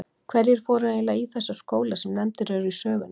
Hverjir fóru eiginlega í þessa skóla sem nefndir eru í sögunni?